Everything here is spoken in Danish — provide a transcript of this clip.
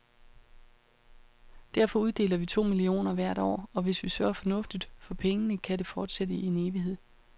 Derfor uddeler vi to millioner hvert år, og hvis vi sørger fornuftigt for pengene, kan det fortsætte i en evighed.